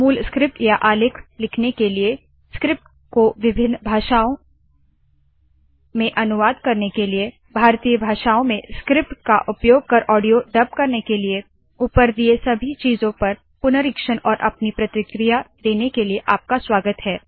मूल स्क्रिप्ट या आलेख लिखने के लिए स्क्रिप्ट को विभिन्न भारतीय भाषाओं में अनुवाद करने के लिए भारतीय भाषाओं में स्क्रिप्ट का उपयोग कर ऑडियो डब करने के लिए ऊपर दिए सभी चीजों पर पुनरीक्षण और अपनी प्रतिक्रिया देने के लिए आपका स्वागत है